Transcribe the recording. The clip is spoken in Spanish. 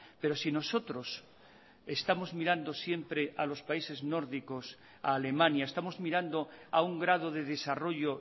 pero si nosotros estamos mirando siempre a los países nórdicos a alemania estamos mirando a un grado de desarrollo